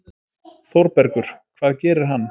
ÞÓRBERGUR: Hvað gerir hann?